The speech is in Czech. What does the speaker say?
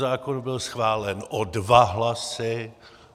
Zákon byl schválen o dva hlasy.